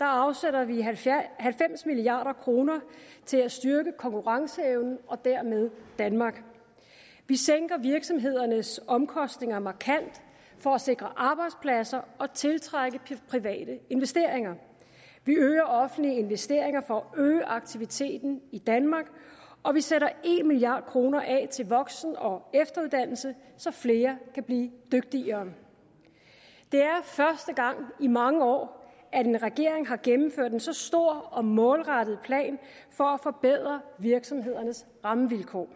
afsætter vi halvfems milliard kroner til at styrke konkurrenceevnen og dermed danmark vi sænker virksomhedernes omkostninger markant for at sikre arbejdspladser og tiltrække private investeringer vi øger offentlige investeringer for at øge aktiviteten i danmark og vi sætter en milliard kroner af til voksen og efteruddannelse så flere kan blive dygtigere det er første gang i mange år at en regering har gennemført en så stor og målrettet plan for at forbedre virksomhedernes rammevilkår